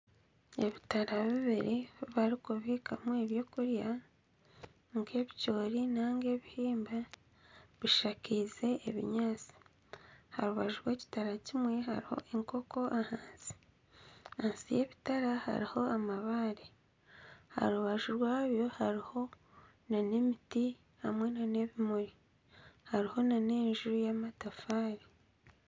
Ebitara bibiri ebi barikubiikamu ebyokurya nk'ebicoori nainga ebihimba bishakaize ebinyaatsi. Aha rubaju rw'ekitara kimwe hariho enkoko ahansi. Ahansi y'ebitara hariho amabaare. Aha rubaju rwabyo hariho n'emiti hamwe n'ebimuri hariho n'enju y'amatafaari.